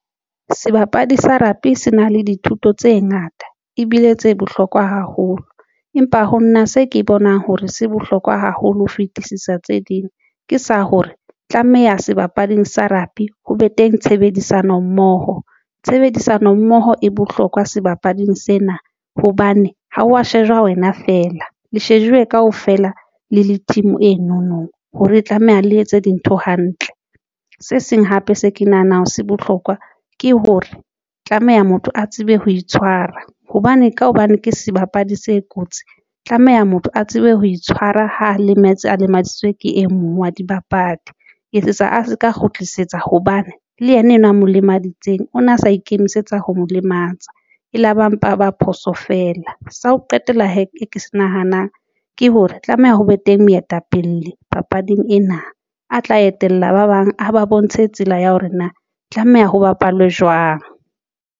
Sebapadi sa rugby sena le dithuto tse ngata ebile tse bohlokwa haholo, empa ho nna se ke bonang hore se bohlokwa haholo ho fitisisa tse ding ke sa hore tlameha sebapading sa rugby ho be teng tshebedisano mmoho. Tshebedisano mmoho e bohlokwa sebapading sena hobane ha o wa shejwa wena fela le shejuwe kaofela le le team eno no hore ho tlameha le etse dintho hantle. Se seng hape se ke nahanang hore se bohlokwa ke hore tlameha motho a tsebe ho itshwara hobane ka hobane ke sebapadi se kotsi tlameha motho a tsebe ho itshwara ha lemetse a lemaditswe ke e mong wa dibapadi ho etsetsa a se ka kgutlisetsa hobane le ena enwa a mo lemaditseng ona sa ikemisetsa ho molematsa ela mpa ya ba phoso fela. Sa ho qetela se ke se nahanang ke hore ho be teng moetapele papading ena a tla etella ba bang a ba bontshe hore hore ho tlameha ba bapale jwang.